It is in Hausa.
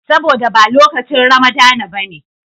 Saboda ba lokacin Ramadana ba ne.